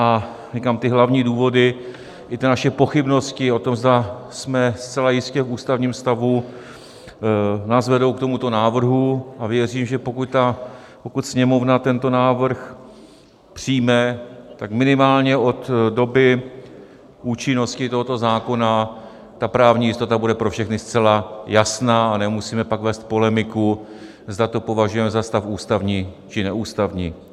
A říkám, ty hlavní důvody i ty naše pochybnosti o tom, zda jsme zcela jistě v ústavním stavu, nás vedou k tomuto návrhu a věřím, že pokud Sněmovna tento návrh přijme, tak minimálně od doby účinnosti tohoto zákona ta právní jistota bude pro všechny zcela jasná a nemusíme pak vést polemiku, zda to opovažujeme za stav ústavní, či neústavní.